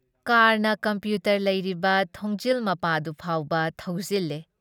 ꯀꯥꯔꯅ computer ꯂꯩꯔꯤꯕ ꯊꯣꯡꯖꯤꯜ ꯃꯄꯥꯗꯨ ꯐꯥꯎꯕ ꯊꯧꯖꯤꯜꯂꯦ ꯫